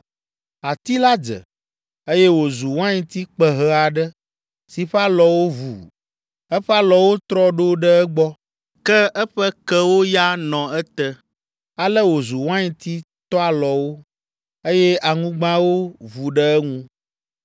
Ati la dze, eye wòzu wainti kpehe aɖe si ƒe alɔwo vu. Eƒe alɔwo trɔ ɖo ɖe egbɔ, ke eƒe kewo ya nɔ ete. Ale wòzu wainti toalɔwo, eye aŋugbawo vu ɖe eŋu.